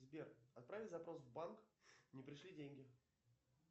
сбер отправить запрос в банк не пришли деньги